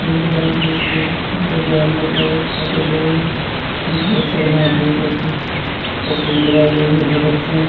दिख रहा है ये स्कूल उसके बारांडे का यह फोटो ली गई है यहाँ पर बहुत सारे महापुरुषों की तसवीर लगाई गई है भगत सिंह --